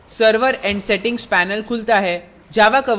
server and settings panel खुलता है